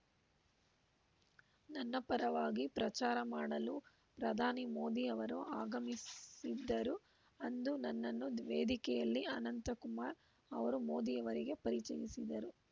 ನನ್ನ ಪರವಾಗಿ ಪ್ರಚಾರ ಮಾಡಲು ಪ್ರಧಾನಿ ಮೋದಿ ಅವರು ಆಗಮಿಸಿದ್ದರು ಅಂದು ನನ್ನನ್ನು ವೇದಿಕೆಯಲ್ಲಿ ಅನಂತಕುಮಾರ್‌ ಅವರು ಮೋದಿಯವರಿಗೆ ಪರಿಚಯಿಸಿದರು